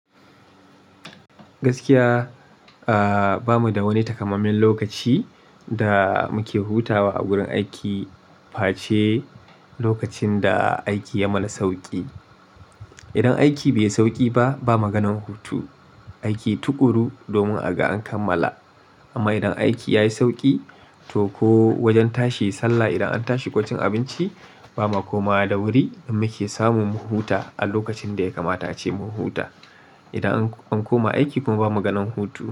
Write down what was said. Gaskiya, ah, bamu da wani takamamman lokaci da muke hutawa a gurin aiki face lokacin da aiki ya mana sauƙi. Idan aiki bai yi sauƙi ba, ba maganan hutu. Aiki tuƙuru domin aga an kammala. Amma idan aiki ya yi sauƙi, to ko wajen tashi sallah, idan an tashi ko ci abinci, ba ma komawa da wuri muke samun mu huta a lokacin da ya kamata ace mu huta. Idan an koma aiki ko ba maganan hutu.